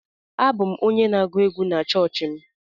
Abụ m onye na-agụ egwú na chọọchị m.